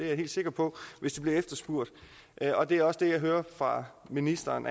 jeg helt sikker på hvis det bliver efterspurgt og det er også det jeg hører fra ministeren